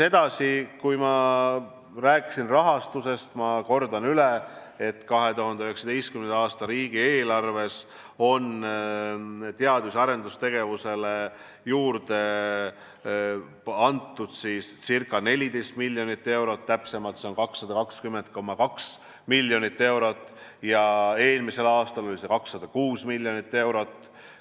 Edasi, ma rääkisin rahastusest ja ma kordan üle, et 2019. aasta riigieelarves on teadus- ja arendustegevusele juurde antud ca 14 miljonit eurot, täpsemalt on kogusumma 220,2 miljonit eurot ja eelmisel aastal oli see 206 miljonit eurot.